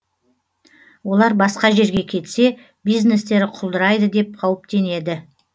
олар басқа жерге кетсе бизнестері құлдырайды деп қауіптенеді